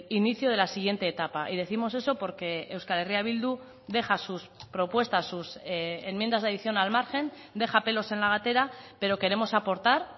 inicio de la siguiente etapa y décimos eso porque euskal herria bildu deja sus propuestas sus enmiendas de adición al margen deja pelos en la gatera pero queremos aportar